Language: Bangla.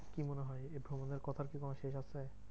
কি মনে হয়? ভ্রমণের কথার কি কোনো শেষ আছে?